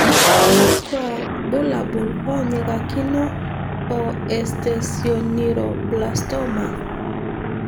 Kakwa bulabul onyikakino o esthesioneuroblastoma?